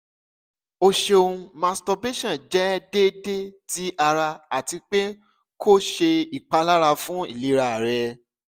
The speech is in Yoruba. o ṣeun masturbation jẹ deede ti ara ati pe ko ṣe ipalara fun ilera rẹ